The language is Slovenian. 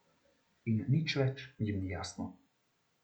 In nič več jim ni jasno.